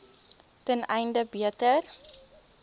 ten einde beter